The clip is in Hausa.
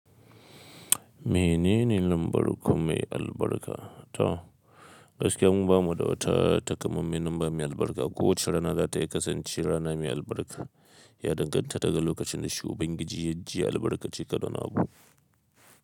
Menene lambar ku mai albarka? Toh, gaskiya mu bamu da wata takamaiman lamba mai albarka. Kowace rana za ta iya kasance rana mai albarka. Ya danganta daga lokacin da shi Ubangiji ya ji ya albarkace ka da wani abu.